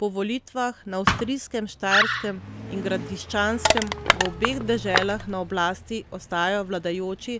Po volitvah na avstrijskem Štajerskem in Gradiščanskem v obeh deželah na oblasti ostajajo vladajoči